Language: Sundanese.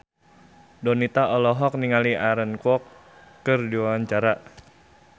Donita olohok ningali Aaron Kwok keur diwawancara